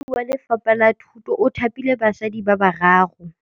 Mothapi wa Lefapha la Thutô o thapile basadi ba ba raro.